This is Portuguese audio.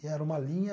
E era uma linha...